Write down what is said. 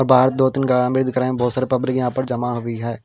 दो तीन गाए भी दिख रहे हैं बहुत सारे पब्लिक यहाँ पर जमा हुई है।